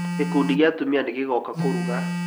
Gĩkundi kĩa atumia nĩ gĩgoka kũruga.